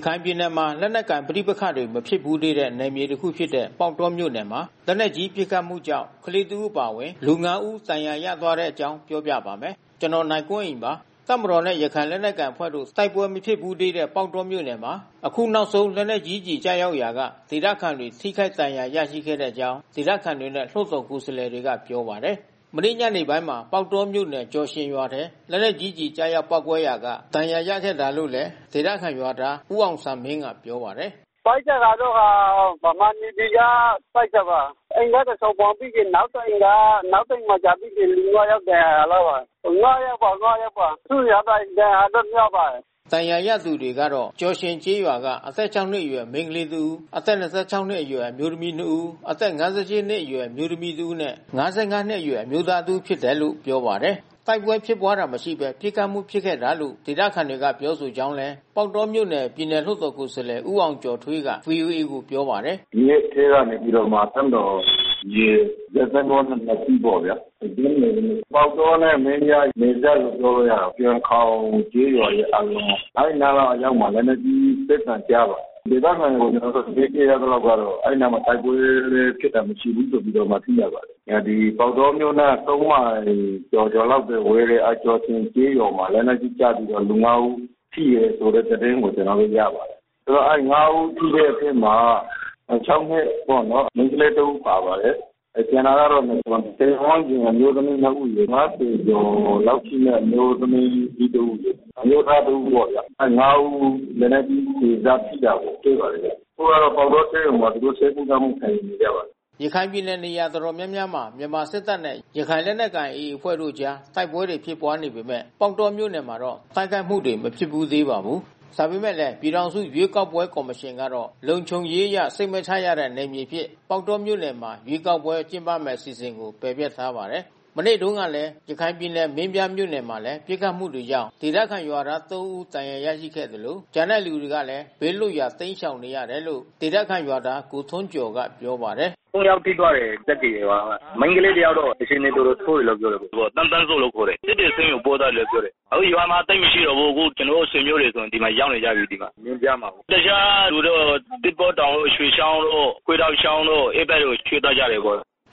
ရခိုင်ပြည်နယ်မှာ လက်နက်ကိုင်ပဋိပက္ခတွေ မဖြစ်ဘူးသေးတဲ့ နယ်မြေတခုဖြစ်တဲ့ ပေါက်တောမြို့နယ်မှာ လက်နက်ကြီးပစ်ခတ်မှုကြောင့် ကလေး တစ် ဦးအပါအဝင် လူ ငါး ဦး ဒဏ်ရာရသွားတဲ့အကြောင်း ပြောပြပါမယ်။ ဗွီအိုအေမြန်မာပိုင်းသတင်းထောက် ကိုနိုင်ကွန်းအိန်က သတင်းပေးပို့ထားပါတယ်။ တပ်မတော်နဲ့ ရခိုင်လက်နက်ကိုင် AA အဖွဲ့တို့ တိုက်ပွဲမဖြစ်ဘူးသေးတဲ့ ပေါက်တောမြို့နယ်မှာ အခုနောက်ဆုံး လက်နက်ကြီးကျည် ကျရောက်ရာက ဒေသခံတွေ ထိခိုက်ဒဏ်ရာတွေ ရရှိခဲ့ကြောင်း ဒေသခံတွေနဲ့ လွှတ်တော်ကိုယ်စားလှယ်တွေက ပြောပါတယ်။ မနေ့ညနေပိုင်းမှာ ပေါက်တောမြို့နယ်ကျော်ရှင်ရွာထဲ လက်နက်ကြီးကျည် ကျရောက်ပေါက်ကွဲရာက ဒဏ်ရာရရှိခဲ့တာလို့လည်း ဒေသခံရွာသား ဦးအောင်စံမင်းက ပြောပါတယ်။ “ပစ်တာကတော့ကာ ဗမာ NAVY က ပစ်တာပါ။ အိမ်ကတဆောင်ထိပြီး နောက်တအိမ်က နောက်တအိမ်ကျ လူ ငါး ယောက်ဒဏ်ရာရပါတယ်။ ငါးယောက်ပါ... စိုးရိမ်ရပါတယ်။ ဒဏ်ရာကတော့ များပါတယ်။” ဒဏ်ရာရသူတွေကတော့ ကျော်ရှင်ကျေးရွာက အသက် ၆ နှစ်အရွယ် မိန်းကလေးငယ်တဦး၊ အသက် ၂၆ နှစ်အရွယ် အမျိုးသမီး ၂ ဦး အသက် ၅၈ နှစ်အရွယ် အမျိုးသမီးတဦးနဲ့ ၅၅ နှစ်အရွယ် အမျိုးသမီးတဦးဖြစ်တယ်လို့လည်း ပြောပါတယ်။ တိုက်ပွဲဖြစ်ပွါးတာ မရှိဘဲ ပစ်ခတ်မှု ဖြစ်ခဲ့တာလို့ ဒေသခံတွေက ပြောဆိုကြောင်းလည်း ပေါက်တောမြို့နယ် ပြည်နယ်လွှတ်တော် ကိုယ်စားလှယ် ဦးအောင်ကျော်ထွီးက ဗွီအိုအေကိုပြောပါတယ်။ “မြစ်ထဲကနေပြီးတော့ တပ်မတော်ရေ စစ်သင်္ဘောနှစ်စီးပေါ့ဗျာ။ ညနေပေါက်တောနဲ့မင်းပြား နယ်စပ်လို့ ပြောလို့ ရတာပေါ့။ ကျော်ခေါင်ကျေးရွာရဲ့ အောက်နား အဲဒီနားအရောက်မှာ ပစ်သံကြားပါတယ်။ ဒေသခံတွေ ကျနော်တို့ သတင်းပေးရသလောက်ကတော့ အဲဒီအနားမှာ တိုက်ပွဲလည်း ဖြစ်တာမရှိဘူးဆိုပြီးတော့မှ သိရပါတယ်။ ပေါက်တောမြို့နဲ့ ၃ မိုင်ကျော်ကျော်လောက်ဝေးတဲ့ ကျော်ရှင်ကျေးရွာမှာ လက်နက်ကြီးကျပြီးတော့ လူ ၅ ဦး ထိတယ်ဆိုတဲ့ သတင်းကို ကျနော်တို့ ရပါတယ်။ ဆိုတော့ ၅ ဦးထိတဲ့အထဲမှာ ၆ နှစ်ပေါ့နော်... မိန်းကလေးတဦးပါပါတယ်။ ကျန်တာကတော့ ၂၀ ဝန်းကျင်အမျိုးသမီးနှစ်ဦးရယ်။ ၅၀ ကျော်လောက်ရှိတဲ့ အမျိုးသမီးကြီးတဦးရယ်။ အမျိုးသား တဦးပေါ့ဗျာ။ ၅ ဦးလက်နက်ကြီးကျည်စထိတာကိုတွေ့ပါတယ်ဗျ။ ခုကတော့ပေါက်တောဆေးရုံမှာ သူတို့ဆေးကုသမှု ခံယူနေကြပါတယ်။” ရခိုင်ပြည်နယ် နေရာတော်တော်များများမှာ မြန်မာစစ်တပ်နဲ့ ရခိုင်လက်နက်ကိုင် AA အဖွဲ့တို့အကြား တိုက်ပွဲတွေ ဖြစ်ပွါးနေပေမဲ့ ပေါက်တောမြို့နယ်မှာတော့ တိုက်ခိုက်မှုတွေ မဖြစ်ဘူးသေးပါဘူး။ ဒါပေမဲ့လည်း ပြည်ထောင်စုရွေးကောက်ပွဲကော်မရှင်ကတော့ လုံခြုံရေးအရ စိတ်မချရတဲ့ နယ်မြေအဖြစ် ပေါက်တောမြို့နယ်မှာ ရွေးကောက်ပွဲကျင်းပမယ့် အစီအစဉ်ကို ပယ်ဖျက်ထားပါတယ်။ မနေ့တုန်းကပဲ ရခိုင်ပြည်နယ် မင်းပြားမြို့နယ်မှာလည်း ပစ်ခတ်မှုကြောင့် ဒေသခံရွာသား သုံး ဦး ဒဏ်ရာရခဲ့သလို ကျန်တဲ့သူတွေလည်း ဘေးလွတ်ရာ တိမ်းရှောင်နေကြရတယ်လို့ ဒေသခံရွာသား ကိုထွန်းကျော်က ပြောပါတယ်။ “သုံးယောက်ထိသွားတယ် စက္ကရေရွာက။ မိန်းကလေးတယောက်က အခြေအနေတော်တော်ဆိုးတယ်လို့ပြောတယ်။ သူက သန်းသန်းစိုးလို့ခေါ်တယ်။ စစ်တွေဆေးရုံကိုပို့ထားတယ်။ အခုရွာမှာသိပ်မရှိတော့ဘူး။ ကျနော် ဆွေမျိုးတွေဆို ဒီမှာရောက်နေကြပြီး မင်းပြားမှာပေါ့။ တခြားလူတော့ သစ်ပေါတောင်တို့၊ ရွှေချောင်းတို့၊ ခွေးတောက်ချောင်းတို့ အဲဘက်ကိုရွှေ့သွားကြတယ်။”